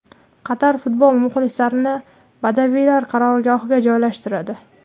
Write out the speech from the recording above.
Qatar futbol muxlislarini badaviylar qarorgohiga joylashtiradi.